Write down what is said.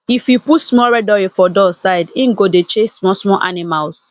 if you put small red oil for door side e go dey chase small small animals